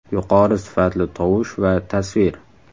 Yuqori sifatli tovush va tasvir.